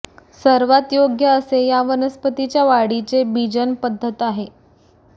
सर्वात योग्य असे या वनस्पतीच्या वाढीचे बीजन पध्दत आहे